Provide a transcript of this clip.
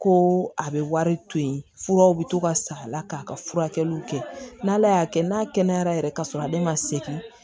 Ko a bɛ wari to yen furaw bɛ to ka sa a la k'a ka furakɛliw kɛ n' ala y'a kɛ n'a kɛnɛyara yɛrɛ ka sɔrɔ ale ma segin